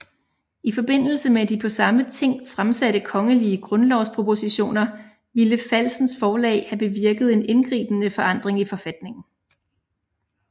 I forbindelse med de på samme ting fremsatte kongelige grundlovspropositioner ville falsens forslag have bevirket en indgribende forandring i forfatningen